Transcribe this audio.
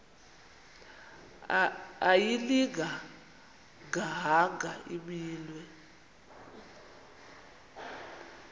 ayilinga gaahanga imenywe